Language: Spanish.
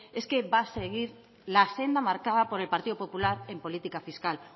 es que va a seguir la senda marcada por el partido popular en política fiscal